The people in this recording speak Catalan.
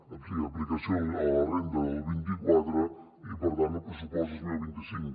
o sigui aplicació a la renda del vint quatre i per tant al pressupost de dos mil vint cinc